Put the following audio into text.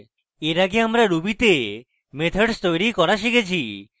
এর আগে আমরা রুবিতে methods তৈরী করা শিখেছি